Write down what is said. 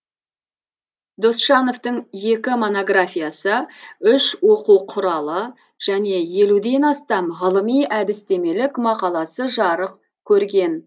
досжановтың екі монографиясы үш оқу құралы және елуден астам ғылыми әдістемелік мақаласы жарық көрген